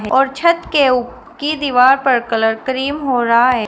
और छत के उ की दीवार पर कलर क्रीम हो रहा है।